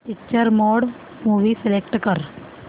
picture mode movie select कर